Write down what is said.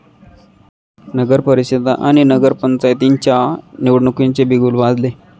नगरपरिषदा आणि नगरपंचायतींच्या निवडणुकीचे बिगुल वाजले